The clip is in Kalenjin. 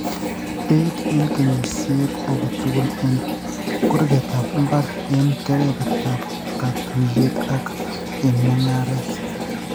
Beit eng' kenyisiet age tugul eng' kurgetap mbar, eng' kebebertap katuiyet ak eng' mung'aaret.